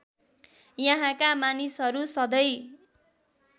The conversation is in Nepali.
यहाँका मानिसहरू सधैँ